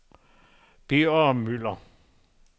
Birger Müller